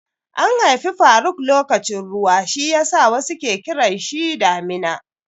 An haifi faruk lokacin ruwa shiyasa wasu ke kiranshi Damina.